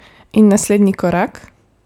In naslednji korak?